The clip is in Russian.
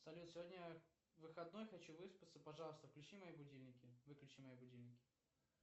салют сегодня выходной хочу выспаться пожалуйста включи мои будильники выключи мои будильники